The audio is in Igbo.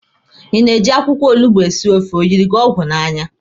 Ị na-eji akwụkwọ olugbo esi ofe, O yiri gi ọgwụ n'anya?